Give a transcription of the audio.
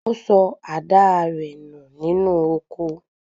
Ó sọ àdáa rẹ̀ nù nínú oko.